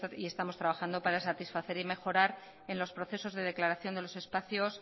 y estamos trabajando para satisfacer y mejorar en los procesos de declaración de los espacios